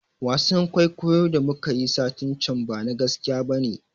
Wasan kuikuyo da muka yi satin can bana gaskiya bane